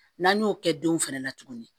N'an y'o kɛ denw fɛnɛ na tuguni